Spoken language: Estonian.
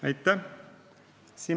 Aitäh!